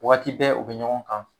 Wagati bɛ u be ɲɔgɔn kan